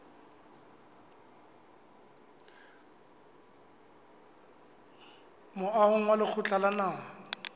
moahong wa lekgotla la naha